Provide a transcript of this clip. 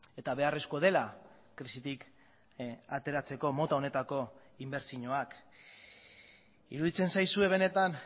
eta beharrezkoa dela krisitik ateratzeko mota honetako inbertsioak iruditzen zaizue benetan